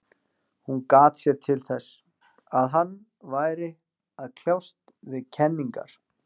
Hún gat sér þess til, að hann væri að kljást við kenningar